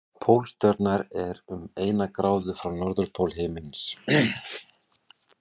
Pólstjarnan er um eina gráðu frá norðurpól himins.